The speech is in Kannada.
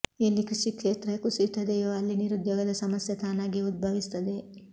ಎಲ್ಲಿ ಕೃಷಿ ಕ್ಷೇತ್ರ ಕುಸಿಯುತ್ತದೆಯೋ ಅಲ್ಲಿ ನಿರುದ್ಯೋಗದ ಸಮಸ್ಯೆ ತಾನಾಗಿಯೇ ಉದ್ಭವಿಸುತ್ತದೆ